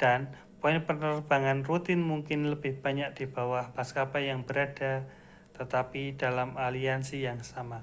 dan poin penerbang rutin mungkin lebih banyak di bawah maskapai yang berbeda tetapi dalam aliansi yang sama